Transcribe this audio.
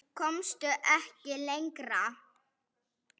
Komst ekki lengra.